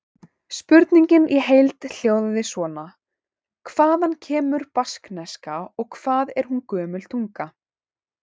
Spurningin í heild hljóðaði svona: Hvaðan kemur baskneska og hvað er hún gömul tunga?